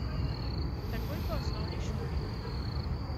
Takoj po osnovni šoli.